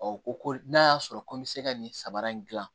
ko ko n'a y'a sɔrɔ ko n bɛ se ka nin saba in gilan